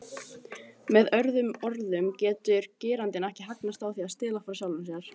Með öðrum orðum getur getur gerandinn ekki hagnast á því að stela frá sjálfum sér.